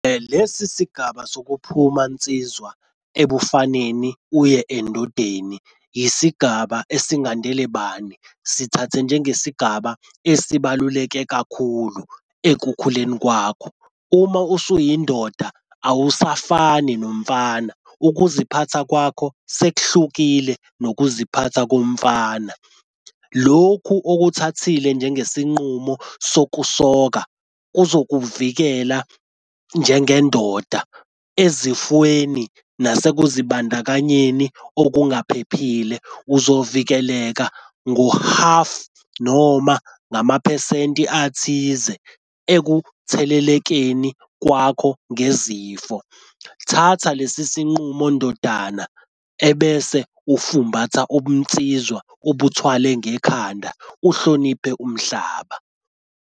Lesi sigaba sokuphuma nsizwa ebufaneni uye endodeni yisigaba esingandele bani. Sithathe njengesigaba esibaluleke kakhulu ekukhuleni kwakho. Uma usuyindoda awusafani nomfana. Ukuziphatha kwakho sekuhlukile nokuziphatha komfana. Lokhu okuthakathile njengesinqumo sokusoka kuzokuvikela njengendoda ezifweni nasekuzibandakanyeni okungaphephile. Uzovikeleka ngohafu noma ngamaphesenti athize ekuthelelekeni kwakho ngezifo. Thatha lesi sinqumo ndodana ebese ufumbatha ubunsizwa ubuthwale ngekhanda uhloniphe umhlaba.